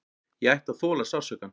Ég ætti að þola sársaukann.